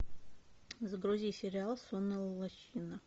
загрузи сериал сонная лощина